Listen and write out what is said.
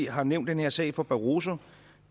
har nævnt den her sag for barroso